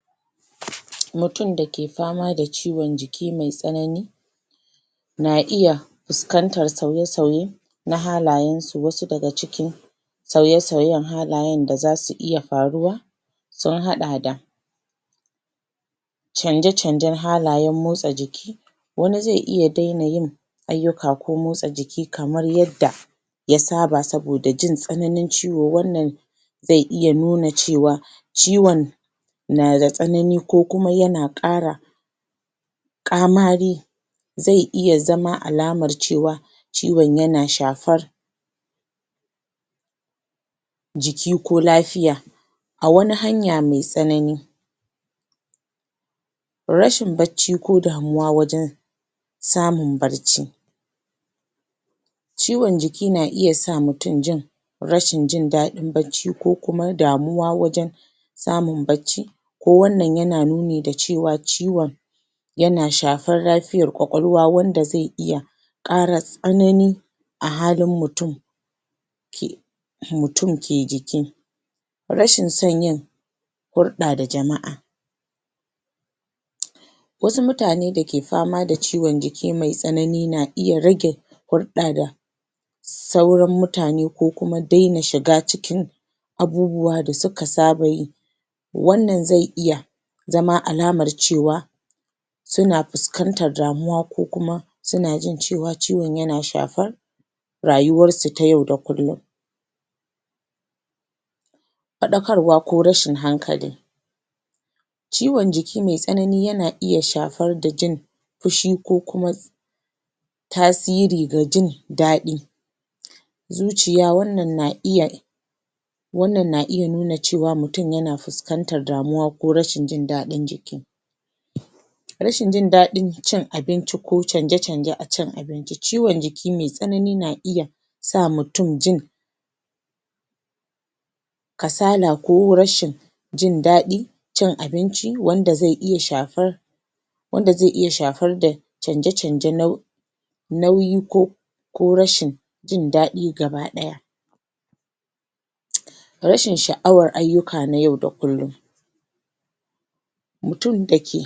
Mutum da ke fama da ciwon jiki mai tsanani na iya fuskantar sauye-sauye na halayensu wasu daga ciki sauye-sauyen halayen da za su iya faruwa sun haɗa da canje-canjen halayen motsa jiki wani zai iya daina yin ayyuka ko motsa jiki kamar yadda ya saba saboda jin tsananin ciwo wannan zai iya nuna cewa ciwon na da tsanani ko kuma yana ƙara ƙamari zai iya zama alamar cewa ciwon yana shafar jiki ko lafiya a wani hanya mai tsanani. Rashin bacci ko damuwa wajen samun barci ciwaon jiki na iya sa mutum jin rashin jin daɗin bacci ko kuma damuwa wajen samun bacci ko wannan yana nuni da cewa ciwon yana shafar lafiyar ƙwaƙwalwa wanda zai iya ƙara tsanani a halin mutum. ke mutum ke jiki. Rashin son yin hulɗa da jama'a wasu mutane da ke fama da ciwon jiki mai tsanani na iya rage hulɗa da sauran mutane ko kuma daina shiga cikin abubuwa da suka saba yi wannan zai iya zama alamar cewa suna fuskantar damuwa ko kuma suna jin cewar ciwon yana shafar rayuwarsu ta yau da kullum. Faɗakarwa ko rashin hankali ciwon jiki mai tsanani yana iya shafar da jin fushi ko kuma tasiri ga jin daɗi. Zuciya wannan na iya wannan na iya nuna cewa mutum yana fuskantar damuwa ko rashin jin daɗin jiki. Rashin jin daɗin cin abinci ko canje-canje a cin abinci ciwon jiki mai tsanani na iya sa mutum jin kasala ko rashin jin daɗin cin abinci wanda zai iya shafar wanda zai ya shafar da canje-canje nau nauyi ko ko rashi jin daɗi gaba ɗaya. Rashin sha'awar ayyuka na yau da kullum. mutum da ke.